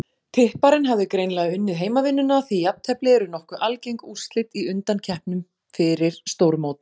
Tipparinn hafði greinilega unnið heimavinnuna því jafntefli eru nokkuð algeng úrslit í undankeppnum fyrir stórmót.